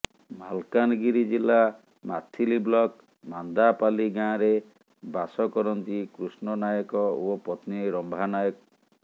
ମାଲକାନଗିରି ଜିଲ୍ଲା ମାଥିଲି ବ୍ଲକ ମାନ୍ଦାପାଲ୍ଲୀ ଗାଁରେ ବାଷ କରନ୍ତି କୃଷ୍ଣ ନାୟକ ଓ ପତ୍ନୀ ରମ୍ଭା ନାୟକ